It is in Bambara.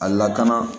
A lakana